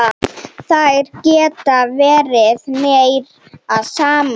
Þær geta verið meira saman.